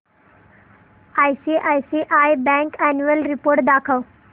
ICICI bank annual report दाखव